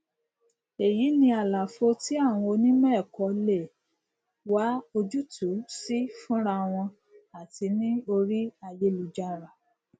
èyí ni àlàfo tí àwọn onímọẹkọ lè wá ojútùú sí fúnra wọn àti ní orí ayélujára